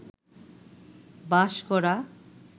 বাস করা